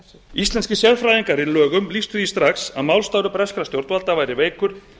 íslenskir sérfræðingar í lögum lýstu því strax að málstaður breskra stjórnvalda væri veikur